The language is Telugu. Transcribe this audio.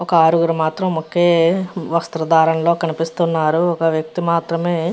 ఒక ఆరుగురు మాత్రం ఒకే వస్త్రధారణలో కనిపిస్తూ ఉన్నారు. ఒక వ్యక్తి మాత్రమే --